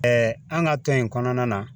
an ka tɔn in kɔnɔna na